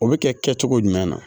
O bɛ kɛ kɛcogo jumɛn na